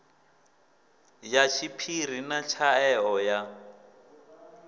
ya tshiphiri na tshaeo ya